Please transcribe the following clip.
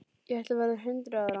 Ég ætla að verða hundrað ára.